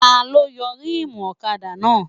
Taló yọ rímùù ọ̀kadà náà?